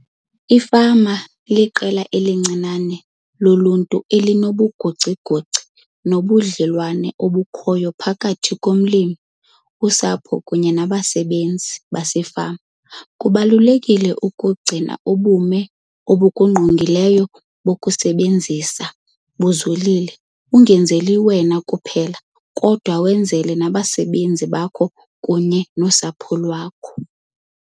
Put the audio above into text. Ifama iliqela elincinane loluntu elinobugocigoci bobudlelwane obukhoyo phakathi komlimi, usapho kunye nabasebenzi basefama. Kubalulekile ukugcina ubume obukungqongileyo bokusebenza buzolile, ungenzeli wena kuphela, kodwa wenzele nabasebenzi bakho kunye nosapho lwakho.